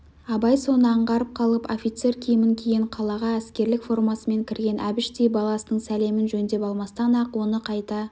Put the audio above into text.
абай соны аңғарып қалып офицер киімін киген қалаға әскерлік формасымен кірген әбіштей баласының сәлемін жөндеп алмастан-ақ оны қайта